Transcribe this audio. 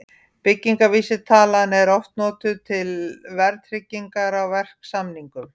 Byggingarvísitalan er oft notuð til verðtryggingar á verksamningum.